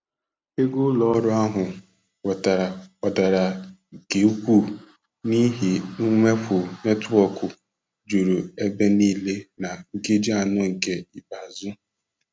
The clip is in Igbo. Ego ụlọ ọrụ ahụ nwetara gbadara nke ukwuu n'ihi mwepu netwọkụ juru ebe niile na nkeji anọ nke ikpeazụ.